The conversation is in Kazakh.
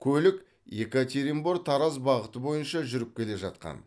көлік екатеринбор тараз бағыты бойынша жүріп келе жатқан